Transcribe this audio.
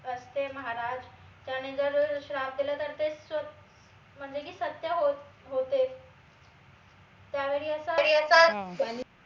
असते महाराज त्याने जर श्राप देला तर ते म्हनजे की सत्य होतेच त्यावेडी असं